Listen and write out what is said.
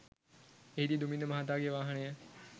එහිදී දුමින්ද මහතාගේ වාහනය